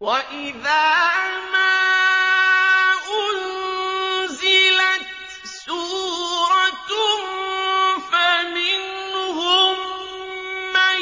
وَإِذَا مَا أُنزِلَتْ سُورَةٌ فَمِنْهُم مَّن